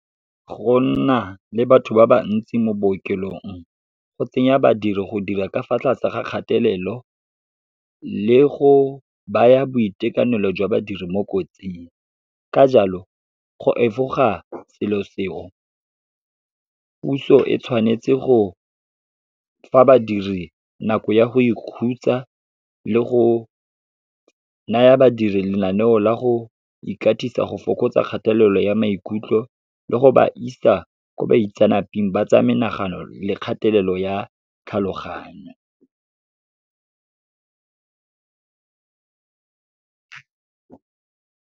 Go nna le batho ba ba ntsi mo bookelong, go tsenya badiri go dira ka fa tlase ga kgatelelo le go baya boitekanelo jwa badiri mo kotsing. Ka jalo, go efoga selo seo, puso e tshwanetse go fa badiri nako ya go ikhutsa, le go naya badiri lenaneo la go ikatisa go fokotsa kgatelelo ya maikutlo le go ba isa ko baitsanapeng ba tsa menagano le kgatelelo ya tlhaloganyo.